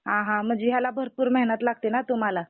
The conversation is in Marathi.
हा हा म्हणजे ह्याला भरपूर मेहनत लागते ना तुम्हाला?